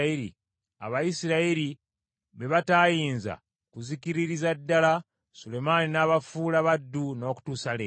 Abayisirayiri be bataayinza kuzikiririza ddala, Sulemaani n’abafuula baddu, n’okutuusa leero.